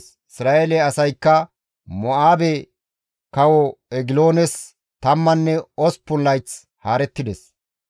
Isra7eele asaykka Mo7aabe kawo Egiloones tammanne osppun layth haarettides.